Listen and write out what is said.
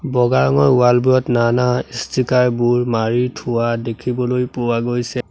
বগা ৰঙৰ ৱাল বোৰত নানা ষ্টিকাৰ বোৰ মাৰি থোৱা দেখিবলৈ পোৱা গৈছে।